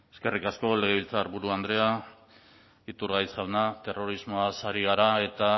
eskerrik asko legebiltzarburu andrea iturgaiz jauna terrorismoaz ari gara eta